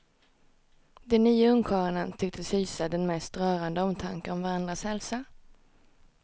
De nio ungkarlarna tycktes hysa en den mest rörande omtanke om varandras hälsa.